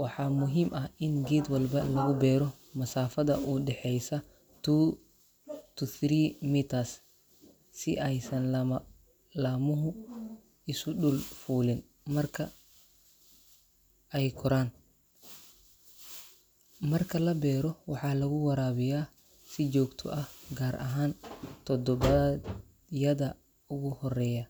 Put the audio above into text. Waxaa muhiim ah in geed walba lagu beero masaafada u dhexeysa two to three meters si aysan lama laamuhu isu dul fuulin marka ay koraan. Marka la beero, waxaa lagu waraabiyaa si joogto ah, gaar ahaan toddobaadyada ugu horreeya.